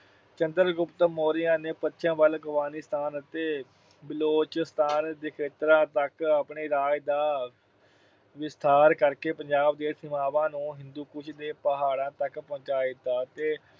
ਚੰਦਰ ਗੁਪਤ ਮੌਰੀਆ ਨੇ ਪੱਛਮ ਵੱਲ ਅਫਗਾਨਿਸਤਾਨ ਅਤੇ ਬਲੋਚਿਸਤਾਨ ਦੇ ਖੇਤਰਾਂ ਤੱਕ ਆਪਣੇ ਰਾਜ ਦਾ ਵਿਸਥਾਰ ਕਰਕੇ ਪੰਜਾਬ ਦੀਆਂ ਸੀਮਾਵਾਂ ਨੂੰ ਹਿੰਦੂਕੁਸ਼ ਦੀਆਂ ਪਹਾੜਾਂ ਤੱਕ ਪਹੁੰਚਾ ਦਿੱਤਾ ਤੇ